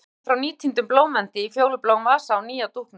Nú sagði ég henni frá nýtíndum blómvendi í fjólubláum vasa á nýja dúknum.